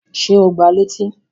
Ṣé o gbá a létí?